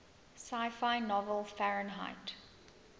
sci fi novel fahrenheit